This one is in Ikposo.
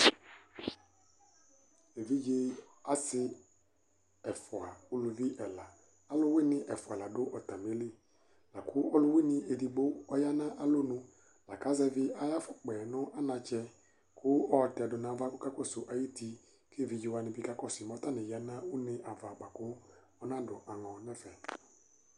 evidze asi ɛfua nʊ uluvi ɛla, aluwɩnɩ ɛfua la dʊ atamili, lakʊ ɔluwɩnɩ edigbo ɔya nʊ alɔnu, lakʊ azɛvi ayu ɛlɛnuti yɛ nʊ anatsɛ, kʊ ayɔtɛdu nʊ ava kʊ ɔkakɔsu ayuti, kʊ evidzewanɩ bɩ kakɔsu mɛ atani ya nʊ une ava, anadu aŋɔ nʊ ɛfɛ